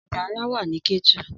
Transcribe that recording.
Ọjà ńlá wà nní Kétu